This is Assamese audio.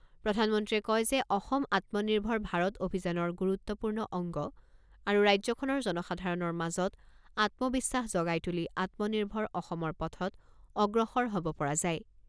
প্ৰধানমন্ত্ৰীয়ে কয় যে অসম আত্মনিৰ্ভৰ ভাৰত অভিযানৰ গুৰুত্বপূৰ্ণ অংগ আৰু ৰাজ্যখনৰ জনসাধাৰণৰ মাজত আত্মবিশ্বাস জগাই তুলি আত্মনিৰ্ভৰ অসমৰ পথত অগ্ৰসৰ হ'ব পৰা যায়।